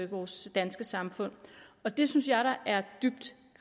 vores danske samfund og det synes jeg da er dybt